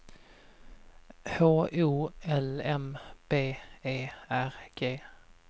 H O L M B E R G